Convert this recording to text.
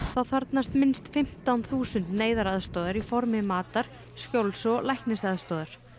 þá þarfnast minnst fimmtán þúsund neyðaraðstoðar í formi matar skjóls og læknisaðstoðar